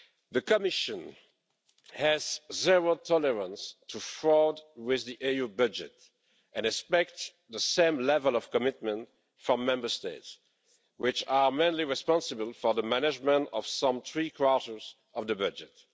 The Commission has zero tolerance towards fraud with the EU budget and expects the same level of commitment from Member States, which are mainly responsible for the management of some three quarters of the budget.